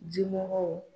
Jimɔgɔw